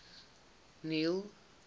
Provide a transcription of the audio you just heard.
neil